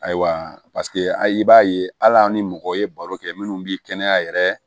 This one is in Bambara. Ayiwa i b'a ye hali ni mɔgɔ ye baro kɛ minnu bɛ kɛnɛya yɛrɛ